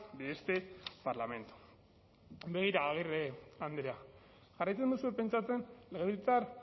de este parlamento begira agirre andrea jarraitzen duzue pentsatzen legebiltzar